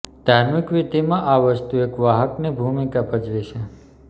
ધાર્મિક વિધિમાં આ વસ્તુ એક વાહકની ભૂમિકા ભજવે છે